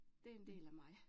Det er en del af mig